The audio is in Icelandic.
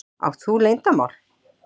Átt þú leyndarmál?